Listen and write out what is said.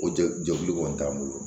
O jɛkulu jɛkulu kɔni t'an bolo